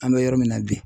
An bɛ yɔrɔ min na bi